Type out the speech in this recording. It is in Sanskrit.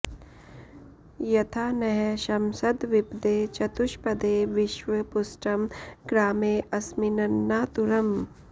यथा॑ नः॒ शमस॑द्द्वि॒पदे॒ चतु॑ष्पदे॒ विश्वं॑ पु॒ष्टं ग्रामे॑ अ॒स्मिन्नना॑तुरम्